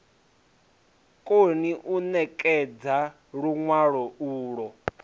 koni u ṋekedza luṅwalo ulwo